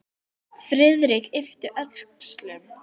Friðrik yppti öxlum.